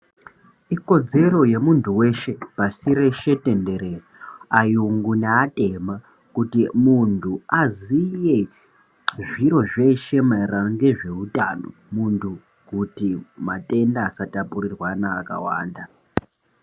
Ikodzero yemuntu weshe, pashi reshe tenderere, ayungu ne atema kuti muntu aziye zviro zveshe mayererano ngezvewutano, muntu kuti matenda asatapurirwana akawanda.